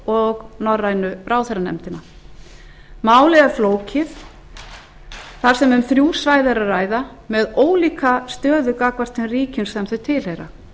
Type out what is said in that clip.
og norrænu ráðherranefndina málið er flókið þar sem um þrjú svæði er að ræða með ólíka stöðu gagnvart þeim ríkjum sem þau tilheyra